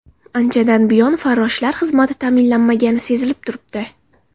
Anchadan buyon farroshlar xizmati ta’minlanmagani sezilib turibdi.